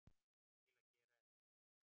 til að gera ekki neitt